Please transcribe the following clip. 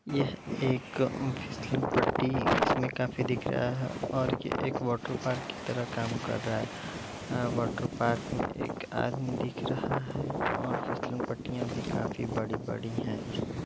यह एक फिसलन पट्टी इसमें काफी दिख रहा है और ये एक वाटरपार्क की तरह काम कर रहा है। वाटरपार्क में एक आदमी दिख रहा है और फिसलन पट्टियाँ भी काफी बड़ी -बड़ी है। इसमे --